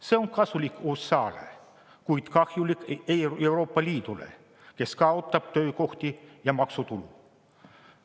See on kasulik USA-le, kuid kahjulik Euroopa Liidule, kes kaotab töökohti ja maksutulu.